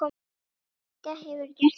Helga: Hefurðu gert það oft?